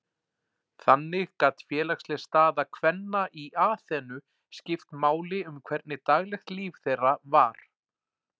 Þannig gat félagsleg staða kvenna í Aþenu skipt máli um hvernig daglegt líf þeirra var.